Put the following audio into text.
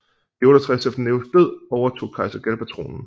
I 68 efter Neros død overtog kejser Galba tronen